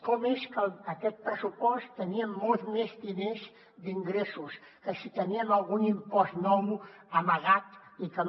com és que aquest pressupost tenia molts més diners d’ingressos que si teníem algun impost nou amagat i que no